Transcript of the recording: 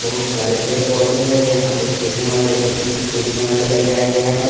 बहुत सारे पेड़-पौधे हैं यहां पे खेलने वाले बच्चों को कूदने वाले लगाया गया है।